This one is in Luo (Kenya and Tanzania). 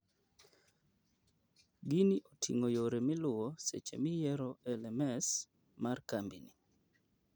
Gini oting'o yore miluwo seche miyiero LMS mar kambi ni.